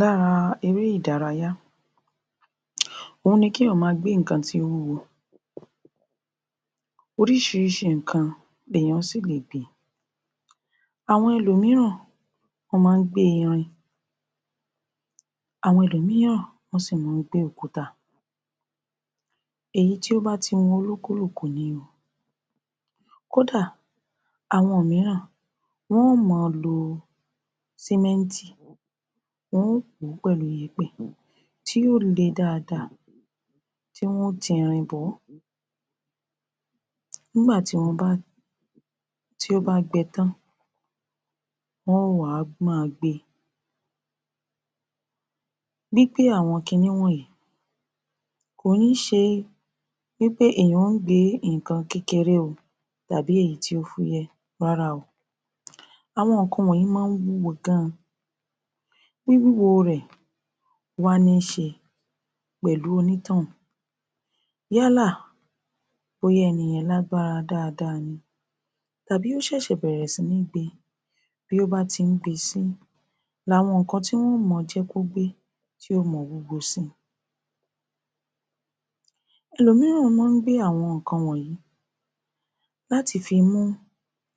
lára eré ìdárayá òhun ni kí èyàn máa gbé ǹkan tí ó wúwo. Oríșìíríșìí ǹkan ní èyàn síìle gbé. Àwϙn ẹlòmíràn wϙ́n máa ńgbé irin, àwϙn ẹlòmíràn wϙ́n sì máa ńgbé òkúta èyí tó bá ti wuu olúkúlùkù ní o. kó dà àwϙn mírán wϙ́n mó lo sémẹ́ntì, wϙn ó pòó pẹ̀lú yèpẹ̀, tí yóó le dáadáa tí wϙn ó ti irin bòϙ́. nígbà tìí ó bá tìí ó bá gbee tán wϙn òó wàá máa gbé e. gbígbé àwϙn kiní wϙ̀nyí kò ní șe wípé èyàn ó gbé ìkan kékeré oo.tàbí èyí tí ó fúyẹ́ o rárá o. àwϙn ìkan wϙ̀nyí mó wúwo gan. wíwíwo rẹ̀ wá níșe pẹ̀lú oní tϙ́ ùn yálà bóyá ẹ́nìyẹn lágbára dáadáa ni tàbí ósẹ́sẹ̀ bẹ̀rẹ̀ sí ní gbé e. bí ó bá ti ńgbé e sí ni àwϙn ìkan tí wϙ́ moo jẹ́ kó gbé tí ó mo wúwo síi. ẹlòmíràn mó gbé àwϙn ìkan wϙ̀yní láti fi mú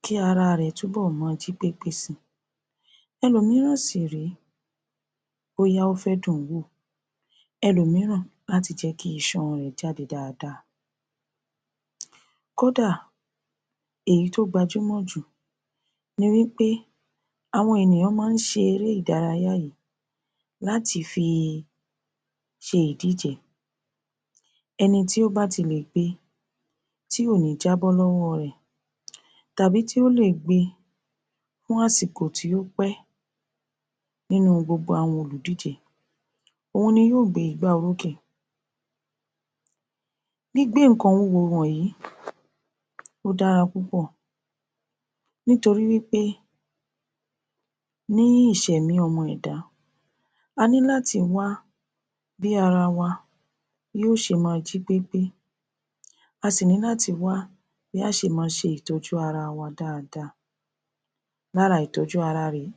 kí ara rẹ̀ tún bóϙ̀ mo jípépé síi. ẹlòmíràn sì ré bóyá ófẹ́ dùn nú wò, ẹlòmíràn láti jẹ́ kí isan rè jáde dáadáa. kódà èyí tó gbaa júmò jù ni wípé àwϙn èyàn máa șe eré ìdárayá yìí láti fi șe ìdíje, ẹni tí ó bá tílè gbé e tí kòní jábϙ́ lϙ́wϙ́ ϙ rè. tàbí tí ó lé è gbé e fun àsìkò tí ó pé e. nínú gbogbo àwϙn olùdíje òhun ni yóò gbé igbá orókè. gbígbé ìkan wúwo wϙ̀yí ó dára púpò nítorí wípé ní í ìșèmì ϙmϙ èdá aní láti wá bí ara wa yóò șe máa jípépé a sì ní láti wá bí a șe máa șe ìtϙ́jú ara wa dáadáa. lára ìtϙ́jú ara rè é.